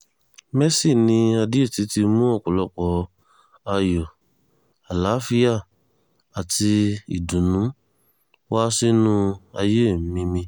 mercy ni adéótì ti mú ọ̀pọ̀lọpọ̀ ayọ̀ àlàáfíà àti ìdùnnú wá sínú ayé mi mi